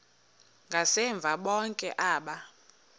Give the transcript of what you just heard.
ngasemva bonke aba